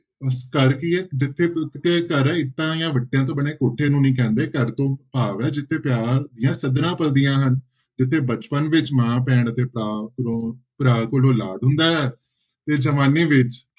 ਘਰ ਕੀ ਹੈ ਜਿੱਥੇ ਕ~ ਕਿ ਘਰ ਇੱਟਾਂ ਜਾਂ ਵੱਟਿਆਂ ਤੋਂ ਬਣੇ ਕੋਠੇ ਨੂੰ ਨੀ ਕਹਿੰਦੇ ਘਰ ਤੋਂ ਭਾਵ ਹੈ ਜਿੱਥੇ ਪਿਆਰ ਦੀਆਂ ਸਧਰਾਂ ਪਲਦੀਆਂ ਹਨ, ਜਿੱਥੇ ਬਚਪਨ ਵਿੱਚ ਮਾਂ ਭੈਣ ਅਤੇ ਭਰਾ ਕੋਲੋਂ ਭਰਾ ਕੋਲੋ ਲਾਡ ਹੁੰਦਾ ਹੈ ਤੇ ਜਵਾਨੀ ਵਿੱਚ